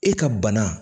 E ka bana